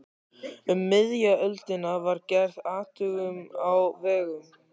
Um miðja öldina var gerð athugun á vegum